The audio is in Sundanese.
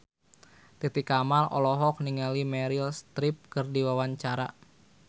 Titi Kamal olohok ningali Meryl Streep keur diwawancara